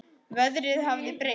Veðrið hafði breyst.